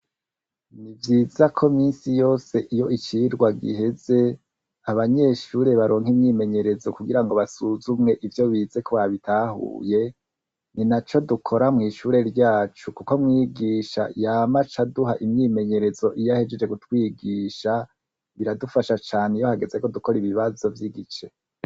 Ni vyiza ko misi yose iyo icirwa giheze abanyeshure baronka imyimenyerezo kugira ngo basuzumwe ivyo bize ko ba bitahuye ni na co dukora mw'ishure ryacu, kuko mwigisha yamaca aduha imyimenyerezo iyo ahejeje gutwigisha biradufasha cane iyo hagezeko kora ibibazo vy'igice.